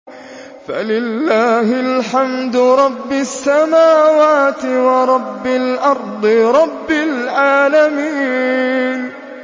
فَلِلَّهِ الْحَمْدُ رَبِّ السَّمَاوَاتِ وَرَبِّ الْأَرْضِ رَبِّ الْعَالَمِينَ